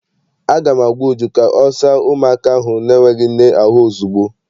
Aga m agwa Uju ka ọ saa ụmụaka ahụ n'enweghị nne ahụ ozugbo!